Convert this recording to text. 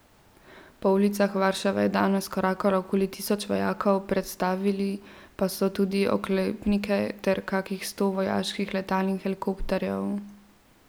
Po ulicah Varšave je danes korakalo okoli tisoč vojakov, predstavili pa so tudi oklepnike ter kakih sto vojaških letal in helikopterjev.